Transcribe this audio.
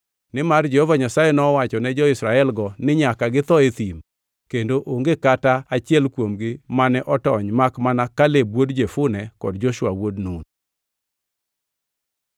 Nimar Jehova Nyasaye ne owachone jo-Israelgo ni nyaka githo e thim, kendo onge kata ngʼata achiel kuomgi mane otony makmana Kaleb wuod Jefune kod Joshua wuod Nun.